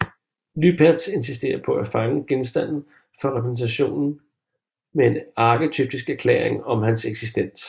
Lüpertz insisterer på at fange genstanden for repræsentation med en arketypisk erklæring om hans eksistens